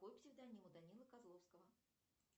какой псевдоним у данилы козловского